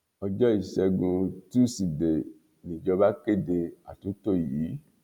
ọjọ́ ìṣẹ́gun túsìdeè nìjọba kéde àtúntò yìí